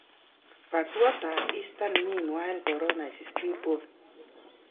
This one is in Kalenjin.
But what does Easter mean while corona is still on?